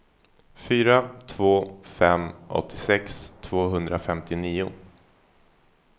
fyra två två fem åttiosex tvåhundrafemtionio